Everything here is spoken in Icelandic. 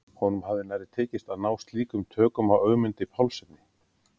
Honum hafði nærri tekist að ná slíkum tökum á Ögmundi Pálssyni.